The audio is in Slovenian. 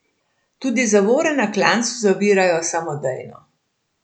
Tudi zavore na klancu zavirajo samodejno.